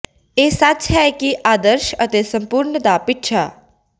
ਇਹ ਸੱਚ ਹੈ ਕਿ ਆਦਰਸ਼ ਅਤੇ ਸੰਪੂਰਣ ਦਾ ਪਿੱਛਾ